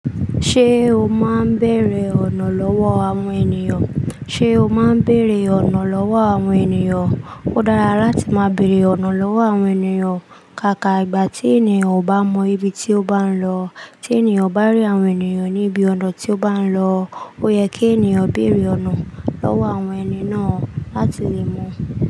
Ṣé o máa ń bẹ̀rẹ̀ ọ̀nà lọ́wọ́ àwọn ènìyàn? Ṣé o máa ń bere ọ̀nà lọ́wọ́ àwọn ènìyàn? Ó dára láti máa bẹ̀rẹ̀ ọ̀nà lọ́wọ́ àwọn ènìyàn. Kàkà ìgbà tí ènìyàn ò bá mọ ibi tí ó bá ń lọ, tí ènìyàn bá rí àwọn ènìyàn níbi ọ̀nà tí ó bá ń lọ, ó yẹ kí ènìyàn bèrè ọ̀nà lọ́wọ́ àwọn ẹni náà láti lè mọ̀.